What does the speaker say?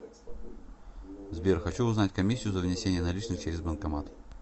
сбер хочу узнать комиссию за внесение наличных через банкомат